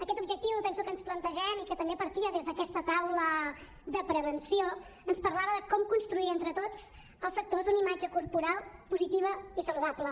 aquest objectiu que penso que ens plantegem i que també partia des d’aquesta taula de prevenció ens parlava de com construir entre tots els actors una imatge corporal positiva i saludable